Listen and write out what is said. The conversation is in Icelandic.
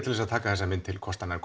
til að taka þessa mynd til kostanna er